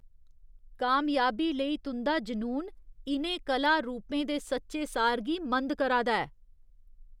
कामयाबी लेई तुं'दा जुनून इ'नें कला रूपें दे सच्चे सार गी मंद करा दा ऐ।